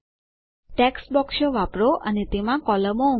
text બોક્સો વાપરો અને તેમાં કોલમો ઉમેરો